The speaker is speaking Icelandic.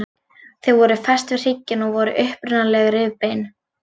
Þau eru fest við hrygginn og voru upprunalega rifbein.